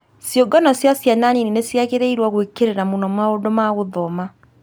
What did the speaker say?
Ciũngano cia ciana nini nĩ ciagĩrĩirũo gwĩkĩrĩra mũno maũndũ ma gũthoma.